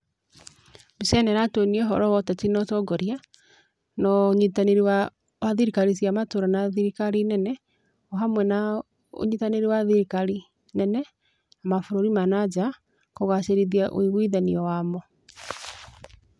Mbica ĩno ĩratwonia ũhoro wa ũteti na ũtongoria, na ũnyitanĩri wa thirikari cia matũra na thirikari nene, o hamwe na ũnyitanĩri wa thirikari nene na mabũrũri ma na nja kũgacĩrithia ũigwithano wamo.